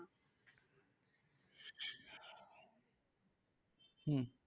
হম